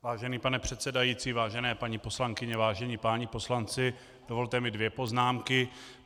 Vážený pane předsedající, vážené paní poslankyně, vážení páni poslanci, dovolte mi dvě poznámky.